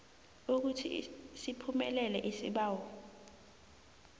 ukuthi siphumelele isibawo